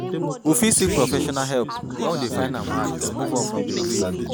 We fit seek professional help when we dey find am hard to move on from di grief